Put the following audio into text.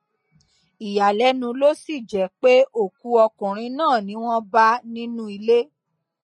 ìyàlẹnu ló sì jẹ pé òkú ọkùnrin náà ni wọn bá nínú ilé